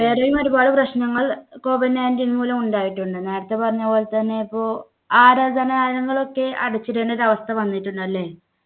വേറെയും ഒരുപാട് പ്രശ്നങ്ങള് COVID nineteen മൂലം ഉണ്ടായിട്ടുണ്ട്. നേരത്തെ പറഞ്ഞ പോലെ തന്നെ ഇപ്പോ ആരാധനാലയങ്ങൾ ഒക്കെ അടച്ചിടേണ്ട ഒരു അവസ്ഥ വന്നിട്ടുണ്ട്. അല്ലേ?